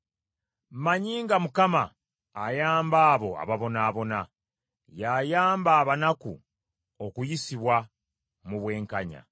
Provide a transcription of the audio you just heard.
Mmanyi nga Mukama ayamba abo ababonaabona, y’ayamba abanaku okuyisibwa mu bwenkanya.